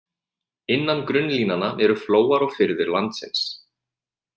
Innan grunnlínanna eru flóar og firðir landsins.